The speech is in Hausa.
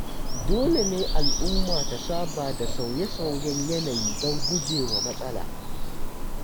Dole ne al'umma ta saba da sauye-sauyen yanayi don gujewa matsala.